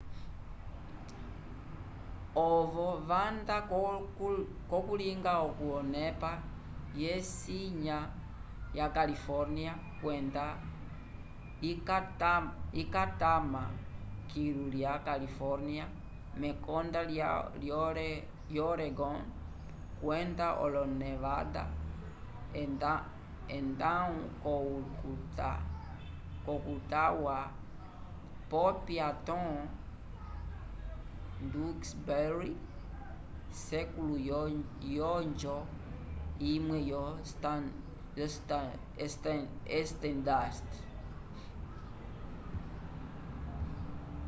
ovo vanda ko kalunga ko nepa ye sinya ya california kwenda ikatama kilu ya california mekonda lya oregon kwenda lonevada edaho ko utah wa popya tom duxbury sekulo yonjo imwe yo stadust